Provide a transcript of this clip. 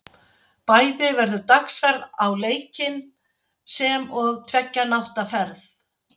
Bæði verður dagsferð á leikinn, sem og tveggja nátta ferð.